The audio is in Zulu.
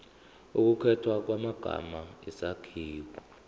ukukhethwa kwamagama isakhiwo